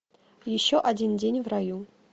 еще один день в раю